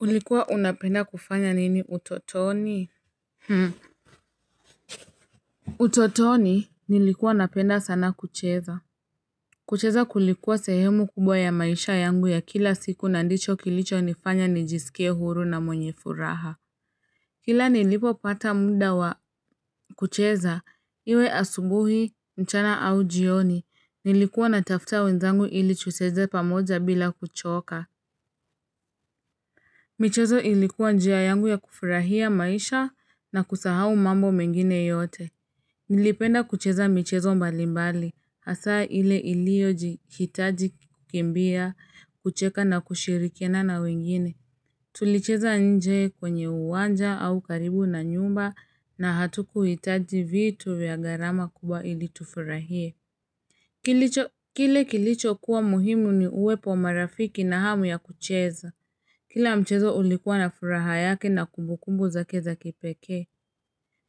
Ulikuwa unapenda kufanya nini utotoni? Utotoni nilikuwa napenda sana kucheza. Kucheza kulikuwa sehemu kubwa ya maisha yangu ya kila siku na ndicho kilicho nifanya nijisikie huru na mwenye furaha. Kila nilipopata mnda wa kucheza, iwe asubuhi, mchana au jioni, nilikuwa natafuta wenzangu ili tucheze pamoja bila kuchoka. Michezo ilikuwa njia yangu ya kufurahia maisha na kusahau mambo mengine yote. Nilipenda kucheza michezo mbalimbali, hasa ile ilioji hitaji kukimbia, kucheka na kushirikiana na wengine. Tulicheza nje kwenye uwanja au karibu na nyumba na hatukuhitaji vitu vya gharama kubwa ili tufurahie. Kile kilicho kuwa muhimu ni uwepo wa marafiki na hamu ya kucheza. Kila mchezo ulikuwa na furaha yake na kumbukumbu zake za kipekee.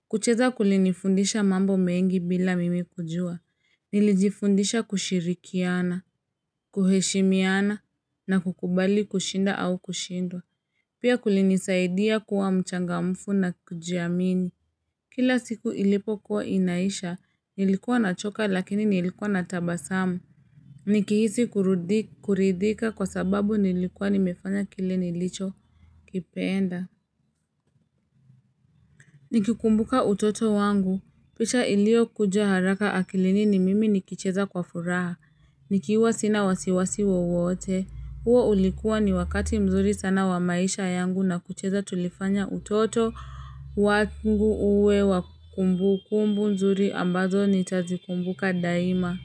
Kucheza kulinifundisha mambo mengi bila mimi kujua. Nilijifundisha kushirikiana, kuheshimiana na kukubali kushinda au kushindwa. Pia kulinisaidia kuwa mchangamfu na kujiamini. Kila siku ilipokuwa inaisha, nilikuwa nachoka lakini nilikuwa na tabasamu. Nikihisi kuridhika kwa sababu nilikuwa nimefanya kile nilichokipenda Nikikumbuka utoto wangu picha iliyokuja haraka akilini ni mimi nikicheza kwa furaha. Nikiwa sina wasiwasi wowote. Huo ulikuwa ni wakati mzuri sana wa maisha yangu na kucheza tulifanya utoto wangu uwe wa kumbu kumbu nzuri ambazo nitazikumbuka daima.